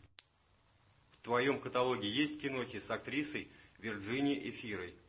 в твоем каталоге есть кинохи с актрисой виржини эфирой